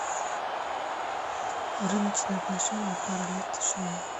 рыночные отношения пара лет тишины